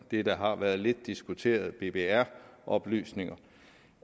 det der har været lidt diskuteret nemlig bbr oplysninger